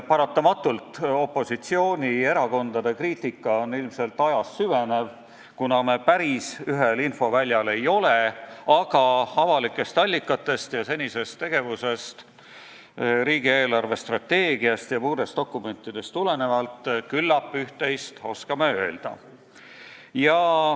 Paratamatult on opositsioonierakondade kriitika ilmselt ajas süvenev, kuna me päris ühel infoväljal ei ole, aga avalikest allikatest ja senisest tegevusest, riigi eelarvestrateegiast ja muudest dokumentidest tulenevalt küllap üht-teist oskame öelda.